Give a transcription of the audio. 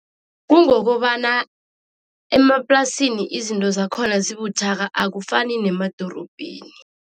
Kungokobana emaplasini izinto zakhona zibuthaka, akufani nemadorobheni.